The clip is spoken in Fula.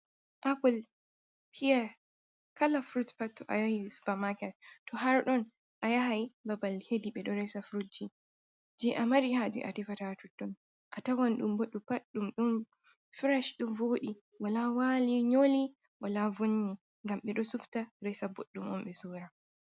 Apple hya kala frudt pat to a yahi supamaket to har ɗon a yahai babal hedi ɓe ɗo resa fruji je a mari haaji a tefata totton a tawan ɗum. Boɗɗum pad ɗum ɗon firash ɗo voodi wala wai nyoli wala vonni ngam ɓe do sufta resa boɗɗum on be sora.